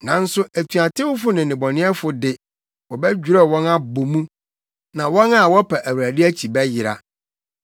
Nanso atuatewfo ne nnebɔneyɛfo de, wɔbɛdwerɛw wɔn abɔ mu, na wɔn a wɔpa Awurade akyi bɛyera.